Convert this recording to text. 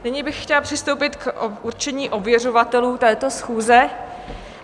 Nyní bych chtěla přistoupit k určení ověřovatelů této schůze.